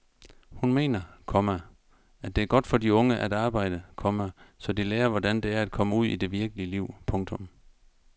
Hun mener, komma det er godt for de unge at arbejde, komma så de lærer hvordan det er at komme ud i det virkelige liv. punktum